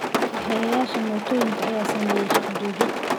kaxeyayasha mootoyinka ayaa sameeyay shaqo joojin